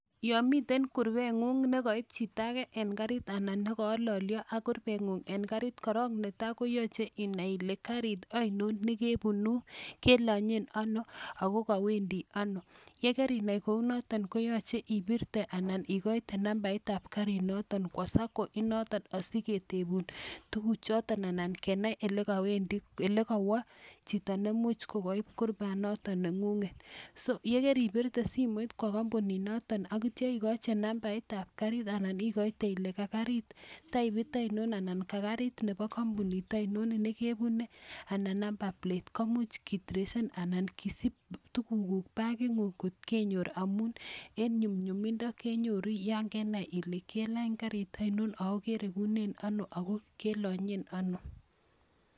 Yomiten kurebeng'ungne koib chito age en karit anan ne koololyo ak kurubeng'ung en karit, korong netai koyoche inai kole karit ainon ne kebunu kelonyen ano? ago kowendi ano? Ye karinai kounoto koyoche ibirte anan igoite nambait ab karinoto kwo SACCO inoton asi ketubun tugukchoto anan kenai ele kowo chito neimuch kogoib kurubanoto neng'ung'et. So yekeribirte simoit kwo kompunit noto ak kityo icgochi nambait ab karit anan igoite ile ka karit type ainon, anan ka karit ab kompunit ainon ne kebune anan number plate komuch kitresen anan kisib tugukuk bagitng'ung kot kenyor amun en nyumnyumindo kenyoru yon kenai ile kelany karit ainon? ago keregunen ano? ago kelonyen ano?